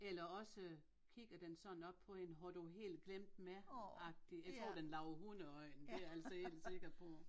Eller også kigger den sådan op på en har du helt glemt mig agtig jeg tror den laver hundeøjne det er jeg altså helt sikker på